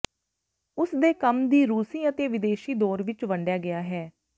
ਉਸ ਦੇ ਕੰਮ ਦੀ ਰੂਸੀ ਅਤੇ ਵਿਦੇਸ਼ੀ ਦੌਰ ਵਿੱਚ ਵੰਡਿਆ ਗਿਆ ਹੈ